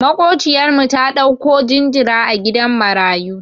Maƙociyar mu ta ɗauko jinjira a gidan marayu.